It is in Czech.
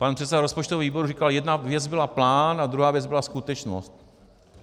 Pan předseda rozpočtového výboru říkal: Jedna věc byla plán a druhá věc byla skutečnost.